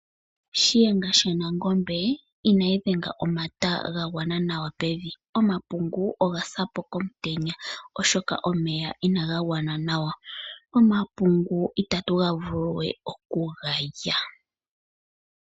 Shiyenga shaNangombe inayi dhenga omata gagwana nawa pevi, omapungu ogasapo komutenya oshoka omeya inaga gwana nawa. Omapungu itatu ggavuluwe okugalya.